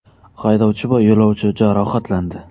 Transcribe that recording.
Haydovchi va yo‘lovchi jarohatlandi .